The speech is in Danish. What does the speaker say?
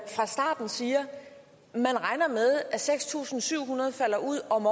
fra starten siger at man regner med at seks tusind syv hundrede falder ud om